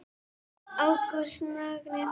Ágúst Magni.